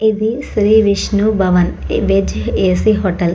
ఇది Sri Vishnu Bhavan veg AC hotel .